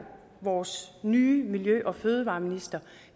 vores nye miljø og fødevareminister